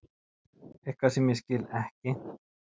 Eitthvað sem ég skil ekki.